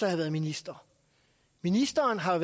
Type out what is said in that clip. have været minister ministeren har